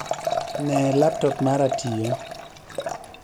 Nee laptop mara tiyo